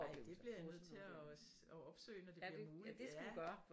Ej det bliver jeg nødt til at opsøge når det bliver muligt